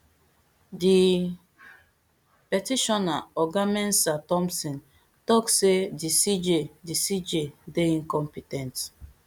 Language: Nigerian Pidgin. di petitioner oga mensah thompson tok say di cj di cj dey incompe ten t